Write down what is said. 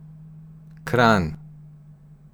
Kranj.